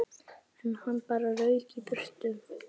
En hann bara rauk í burtu.